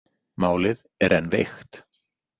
Málið er enn veikt.